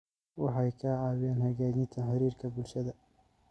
Waxay ka caawiyaan hagaajinta xiriirka bulshada.